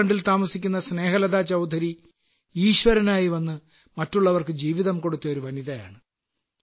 ഝാർഖണ്ഡിൽ താമസിക്കുന്ന സ്നേഹലതാചൌധരി ഈശ്വരനായി വന്ന് മറ്റുള്ളവർക്ക് ജീവിതം കൊടുത്ത ഒരു വനിതയാണ്